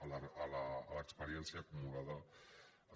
a l’experiència acumulada ens